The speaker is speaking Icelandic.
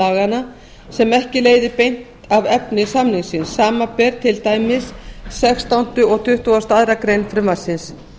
laganna sem ekki leiðir beint af efni samningsins samanber til dæmis sextándu og tuttugasta og aðra grein frumvarpsins